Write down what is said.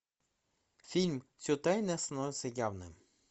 фильм все тайное становится явным